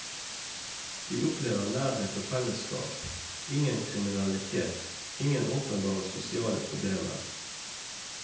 Vi opplever nærhet og fellesskap, ingen kriminalitet, ingen åpenbare sosiale problemer.